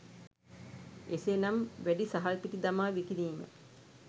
එසේනම් වැඩි සහල්පිටි දමා විකිණිම